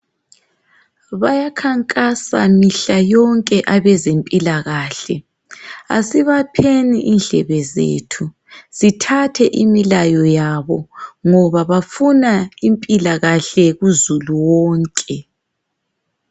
Bayakhankasa mihla yonke abezempilakahle asibapheni indlebe zethu sithathe imilayo yabo ngoba bafuna impilakahle kuzulu wonke.